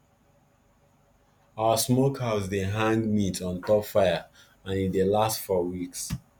our smokehouse dey hang meat on top fire and e dey last for weeks